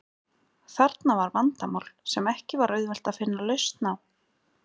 Þarna var vandamál sem ekki var auðvelt að finna lausn á.